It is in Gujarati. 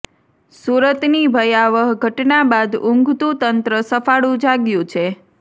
સુરતની ભયાવહ ઘટના બાદ ઉંઘતુ તંત્ર સફાળુ જાગ્યુ છે